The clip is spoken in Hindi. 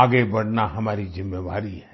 आगे बढ़ना हमारी जिम्मेवारी है